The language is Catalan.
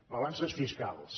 balances fiscals